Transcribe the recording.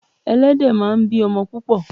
Ẹlẹ́dẹ̀ máa ń bí o̩mo̩ púpò̩.